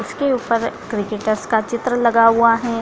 उसके ऊपर क्रिकेटर्स का चित्र लगा हुआ हैं।